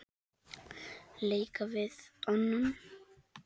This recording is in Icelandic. leika við annan